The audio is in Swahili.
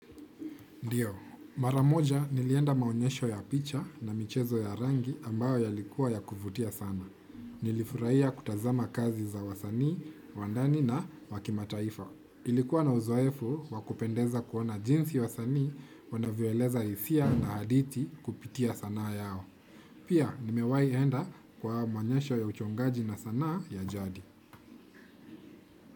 Ndiyo, maramoja nilienda maonyesho ya picha na michezo ya rangi ambayo yalikuwa ya kuvutia sana. Nilifurahia kutazama kazi za wasanii, wandani na wakimataifa. Ilikuwa na uzoefu wakupendeza kuona jinsi wasani wanavyoeleza hisia na hadithi kupitia sanaa yao. Pia nimewai enda kwa maonyesho ya uchongaji na sanaa ya jadi.